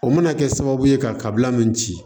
O mana kɛ sababu ye kabila min ci